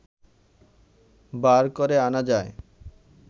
বার করে আনা যায়